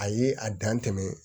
A ye a dan tɛmɛ